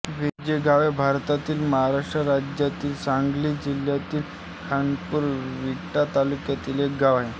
वेजेगाव हे भारतातील महाराष्ट्र राज्यातील सांगली जिल्ह्यातील खानापूर विटा तालुक्यातील एक गाव आहे